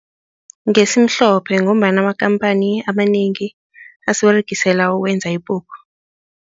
Ngesimhlophe ngombana amakhamphani amanengi asiberegisela ukwenza ipuphu.